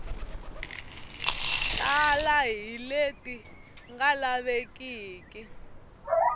tala hi leti nga lavekeki